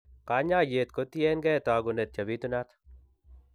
kanyaayet kotien keey taakunet chebitunat.